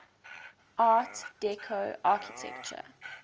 art deco architecture